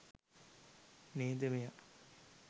නේද මෙයා